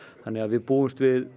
þannig að við búumst við